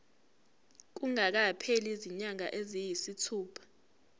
kungakapheli izinyanga eziyisithupha